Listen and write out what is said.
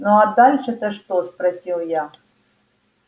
ну а дальше то что спросил я